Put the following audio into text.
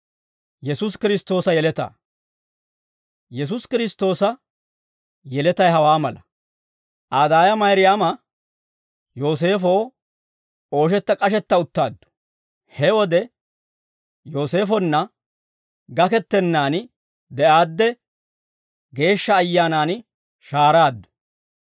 Yesuusi Kiristtoosa yeletay hawaa mala; Aa daaya Mayraama Yooseefoo ooshetta k'ashetta uttaaddu. He wode Yooseefonna gakettennaan de'aadde, Geeshsha Ayyaanan shahaaraaddu.